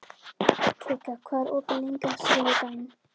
Kikka, hvað er opið lengi á þriðjudaginn?